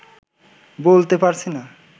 বলতে পারছি না